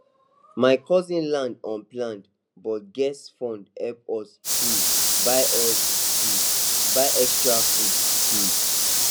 my cousin land unplanned but guest fund help us um buy us um buy extra food um